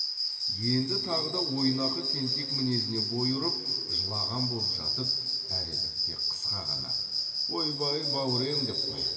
енді тағы да ойнақы тентек мінезіне бой ұрып жылаған боп жатып әредікте қысқа ғана ойбай бау рем деп қояды